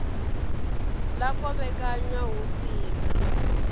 ḽa kovhekanywa hu si na